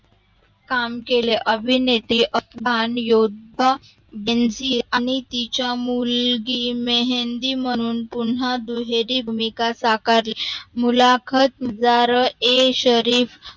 काम केले अभिनेत्री अपमान योद्धा दिलजी आणि तिचा मुलगी मेहंदी म्हणून पुन्हा दुहेरी भूमिका साकारली मुलाखत जार ए शरीफ